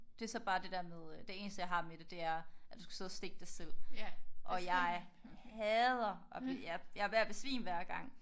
Det er så bare det der med det eneste jeg har med det der er at du skal sidde og stikke dig selv og jeg hader at blive jeg er ved at besvime hver gang